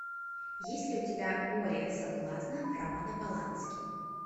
есть ли у тебя море соблазна романа полански